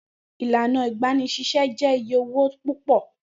Ilana igbanisise jẹ iye owo pupọ.